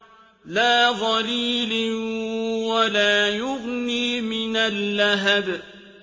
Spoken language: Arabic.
لَّا ظَلِيلٍ وَلَا يُغْنِي مِنَ اللَّهَبِ